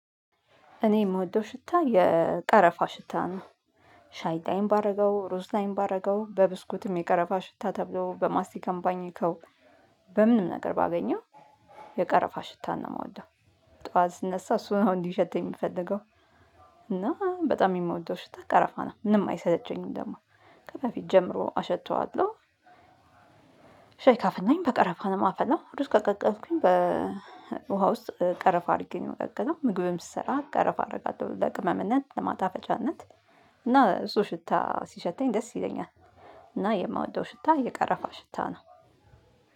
እኔ ምወደው ሽታ የቀረፋ ሽታ ነው። ሻይ ላይም ባደረገው ሩዝ ላይም ባደርገው በብስኩትም የቀረፋ ሽታ ተብሎ በማስቲካም ባኝከው በምንም ነገር ባገኘው የቀረፋ ሽታ ነው ምወደው። ጠዋት ስነሳ እሱ ነው እንዲሸተኝ ምፈልገው እና በጣም የምወደው ሽታ ቀረፋ ነው ምንም አይሰለቸኝም ደግሞ ከበፊት ጀምሮ አሸተዋለሁ። ሻይ ካፈላሁኝ በቀረፋ ነው የማፈላው ሩዝ ከቀቀልኩኝ በውሃ ውስጥ ቀረፋ አድርጌ ነው ምቀቀለው ምግብም ስሰራ ቀረፋ አደርጋለሁ ለቅመምነት ለማጣፈጫነት እና እሱ ሽታ ሲሸተኝ ደስ ይለኛል እና የምወደው ሽታ የቀረፋ ሽታ ነው።